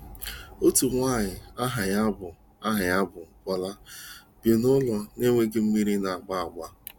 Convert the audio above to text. Otu nwanyị aha ya bụ aha ya bụ Bola bi n'ụlọ na-enweghị mmiri na-agba agba.